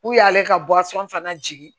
U y'ale ka fana jigin